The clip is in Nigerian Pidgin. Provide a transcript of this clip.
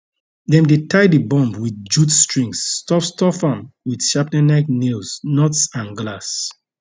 dem dey tie di bomb wit jute strings stuff stuff am wit shrapnellike nails nuts and glass